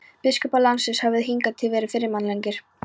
Biskupar landsins höfðu hingað til verið fyrirmannlegir.